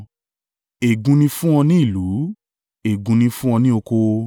Ègún ni fún ọ ní ìlú, ègún ni fún ọ ní oko.